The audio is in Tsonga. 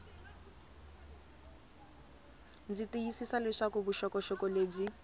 ndzi tiyisisa leswaku vuxokoxoko lebyi